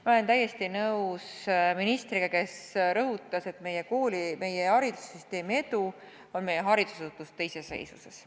Ma olen täiesti nõus ministriga, kes rõhutas, et meie haridussüsteemi edu põhineb meie haridusasutuste iseseisvusel.